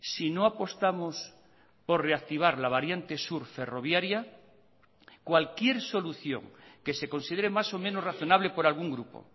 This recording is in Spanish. si no apostamos por reactivar la variante sur ferroviaria cualquier solución que se considere más o menos razonable por algún grupo